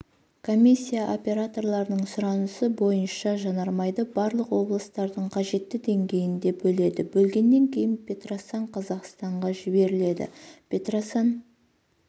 комиссия операторлардың сұранысы бойынша жаармайды барлық облыстардың қажетті деңгейінде бөледі бөлгеннен кейін петросан қазақстанға жіберіледі петросан